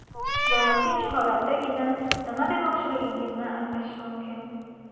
Bola tinch holatdagina nima demoqchiligingizni anglashi mumkin.